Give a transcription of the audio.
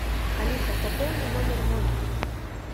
алиса пополни номер мой